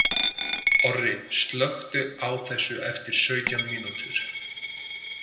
Orri, slökktu á þessu eftir sautján mínútur.